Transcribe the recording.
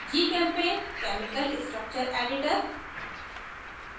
gchempaint chemical structure editor